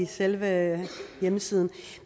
selve hjemmesiden